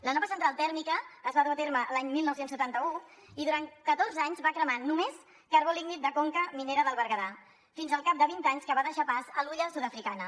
la nova central tèrmica es va dur a terme l’any dinou setanta u i durant catorze anys va cremar només carbó lignit de conca minera del berguedà fins al cap de vint anys que va deixar pas a l’hulla sud africana